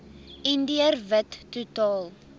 indiër wit totaal